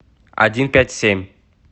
один пять семь